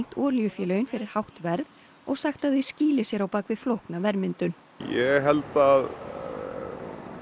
olíufélögin fyrir hátt verð og sagt að þau skýli sér á bak við flókna verðmyndun ég held að